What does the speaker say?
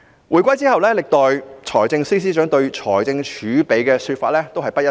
回歸之後，歷代財政司司長對財政儲備的說法皆不一致。